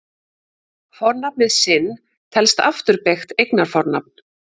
Fornafnið sinn telst afturbeygt eignarfornafn.